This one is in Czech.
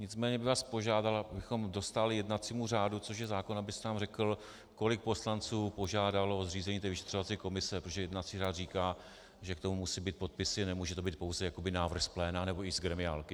Nicméně bych vás požádal, abychom dostáli jednacímu řádu, což je zákon, abyste nám řekl, kolik poslanců požádalo o zřízení té vyšetřovací komise, protože jednací řád říká, že k tomu musí být podpisy, nemůže to být pouze návrh z pléna nebo i z gremiálky.